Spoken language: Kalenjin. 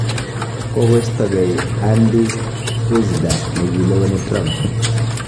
Kogostogei Andy Puzder negileweni Trump.